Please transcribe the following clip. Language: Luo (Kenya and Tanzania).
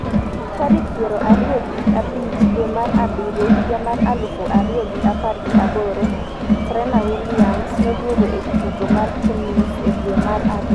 tarik piero ariyo gi abich dwe mar abiriyo higa mar aluf ariyo gi apar gi aboro Serena Williams noduogo e tugo mar tenis e dwe mar ariyo bang' bedo e rusa mar higa achiel mane onyuoloe nyathine mokwongo.